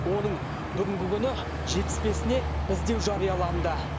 оның бүгінгі күні жетпіс бесіне іздеу жарияланды